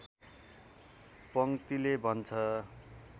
पङ्क्तिले भन्छ